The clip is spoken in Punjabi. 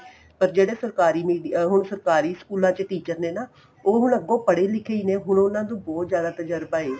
ਪਰ ਜਿਹੜੇ ਸਰਕਾਰੀ medium ਹੁਣ ਸਰਕਾਰੀ ਸਕੂਲਾ ਚ teacher ਨੇ ਨਾ ਉਹ ਹੁਣ ਅੱਗੋ ਪੜ੍ਹੇ ਲਿਖੇ ਨੇ ਹੁਣ ਉਹਨਾ ਨੂੰ ਬਹੁਤ ਜਿਆਦਾ ਤਜਰਬਾ ਏ